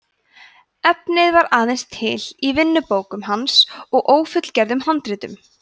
efnið var aðeins til í vinnubókum hans og ófullgerðum handritum